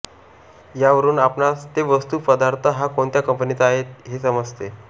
यावरुन आपणास ते वस्तू पदार्थ हा कोणत्या कंपनीचा आहे हे समजते